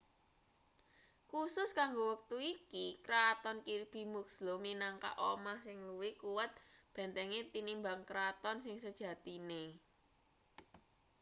khusus kanggo wektu iki kraton kirby muxloe minangka omah sing luwih kuwat bentenge tinimbang kraton sing sejatine